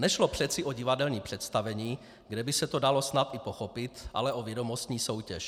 Nešlo přeci o divadelní představení, kde by se to dalo snad i pochopit, ale o vědomostní soutěž.